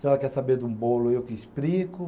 A senhora quer saber de um bolo, eu que explico.